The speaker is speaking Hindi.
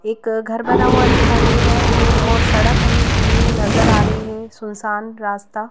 एक घर बना हुआ दिखाई दे रहा है हमें और सड़क हमें सुनी नजर आ रही है सुनसान रास्ता--